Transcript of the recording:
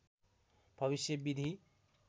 भविष्य विधि